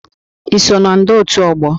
I so na ndọ otu ógbò?